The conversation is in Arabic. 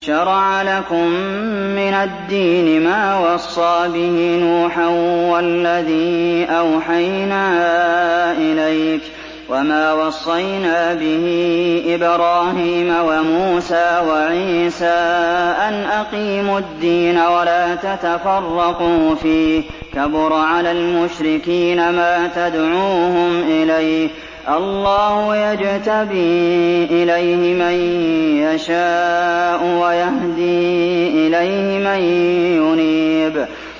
۞ شَرَعَ لَكُم مِّنَ الدِّينِ مَا وَصَّىٰ بِهِ نُوحًا وَالَّذِي أَوْحَيْنَا إِلَيْكَ وَمَا وَصَّيْنَا بِهِ إِبْرَاهِيمَ وَمُوسَىٰ وَعِيسَىٰ ۖ أَنْ أَقِيمُوا الدِّينَ وَلَا تَتَفَرَّقُوا فِيهِ ۚ كَبُرَ عَلَى الْمُشْرِكِينَ مَا تَدْعُوهُمْ إِلَيْهِ ۚ اللَّهُ يَجْتَبِي إِلَيْهِ مَن يَشَاءُ وَيَهْدِي إِلَيْهِ مَن يُنِيبُ